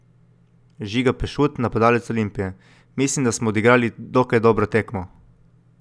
Žiga Pešut, napadalec Olimpije: 'Mislim, da smo odigrali dokaj dobro tekmo.